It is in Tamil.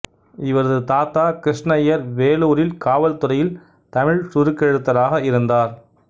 இவரது தாத்தா கிருஷ்ணய்யர் வேலூரில் காவல்துறையில் தமிழ் சுருக்கெழுத்தராக இருந்தார்